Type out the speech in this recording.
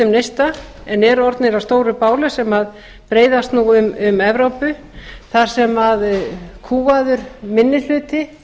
neista en eru orðnir að stóru báli sem breiðist nú um evrópu þar sem kúgaður minnihluti